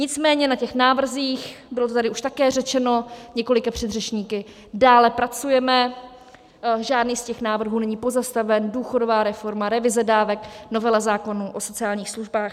Nicméně na těch návrzích, bylo to tady už také řečeno několika předřečníky, dále pracujeme, žádný z těch návrhů není pozastaven: důchodová reforma, revize dávek, novela zákona o sociálních službách.